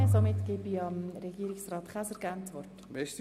Deshalb lehne ich diese Motion ab.